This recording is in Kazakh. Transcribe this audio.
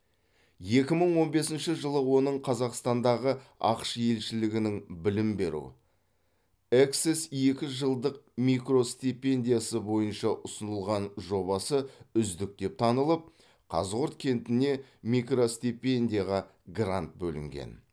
екі мың он бесінші жылы оның қазақстандағы ақш елшілігінің білім беру эксес екі жылдық микростипендиясы бойынша ұсынылған жобасы үздік деп танылып қазығұрт кентіне микростипендияға грант бөлінген